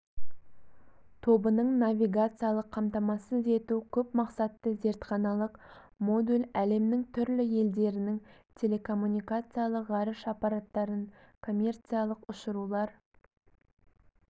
тобының навигациялық қамтамасыз ету көпмақсатты зертханалық модуль әлемнің түрлі елдерінің телекоммуникациялық ғарыш аппараттарын коммерциялық ұшырулар